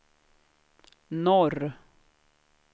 norr